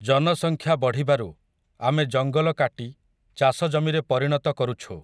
ଜନସଂଖ୍ୟା ବଢ଼ିବାରୁ, ଆମେ ଜଙ୍ଗଲ କାଟି, ଚାଷ ଜମିରେ ପରିଣତ କରୁଛୁ ।